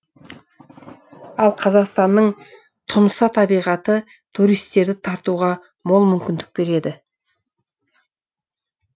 ал қазақстанның тұмса табиғаты туристерді тартуға мол мүмкіндік береді